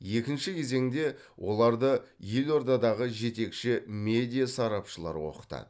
екінші кезеңде оларды елордадағы жетекші медиа сарапшылар оқытады